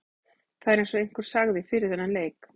Það er eins og einhver sagði fyrir þennan leik.